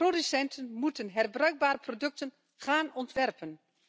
Producenten moeten herbruikbare producten gaan ontwerpen.